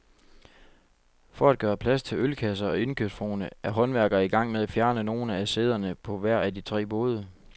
For at gøre plads til ølkasser og indkøbsvogne er håndværkere i gang med at fjerne nogle af sæderne på hver af de tre både.